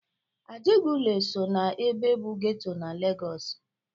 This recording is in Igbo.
Ajegunle so na ebe bụ getọ na Lagọs.